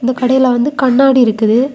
இந்த கடையில வந்து கண்ணாடி இருக்குது.